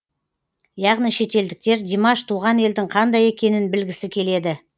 яғни шетелдіктер димаш туған елдің қандай екенін білгісі келеді